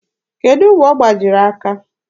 Kedụ mgbe ọ gbajiri aka?